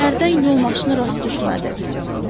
Səhərdən yol maşını rast düşmədi.